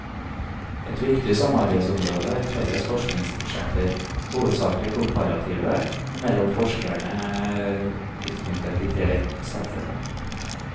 Et viktig samarbeidsområde er felles forskningsprosjekter, hovedsaklig komparative, mellom forskere tilknyttet de tre sentrene.